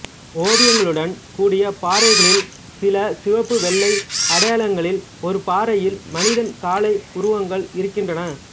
ஓவியங்களுடன் கூடிய பாறை களில் சில சிவப்பு வெள்ளை அடையாளங்களில் ஒரு பாறையில் மனிதன் காளை உருவங்கள் இருக்கின்றன